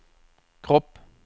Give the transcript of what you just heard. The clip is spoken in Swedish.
kropp